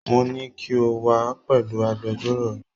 Mo ní kí o wá pẹ̀lú agbẹjọ́rò rẹ